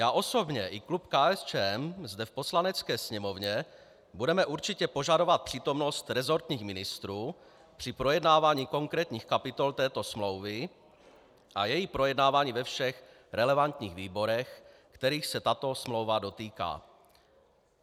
Já osobně i klub KSČM zde v Poslanecké sněmovně budeme určitě požadovat přítomnost resortních ministrů při projednávání konkrétních kapitol této smlouvy a její projednávání ve všech relevantních výborech, kterých se tato smlouva dotýká.